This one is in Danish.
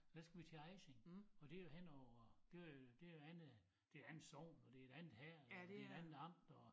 Så skulle vi til Ejsing og det jo henover det øh det et andet det et andet sogn og det et andet herred og det et andet amt og